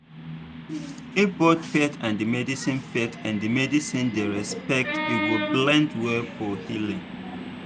if both faith and medicine faith and medicine dey respected e go blend well for healing.